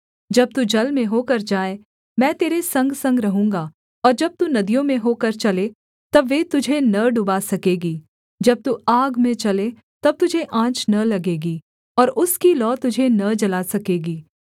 जब तू जल में होकर जाए मैं तेरे संगसंग रहूँगा और जब तू नदियों में होकर चले तब वे तुझे न डुबा सकेगी जब तू आग में चले तब तुझे आँच न लगेगी और उसकी लौ तुझे न जला सकेगी